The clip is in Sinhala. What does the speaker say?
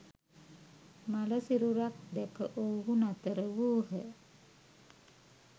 මළ සිරුරක් දැක ඔවුහු නතර වූහ.